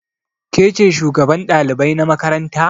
Ke ce shugaban ɗalibai na makaranta?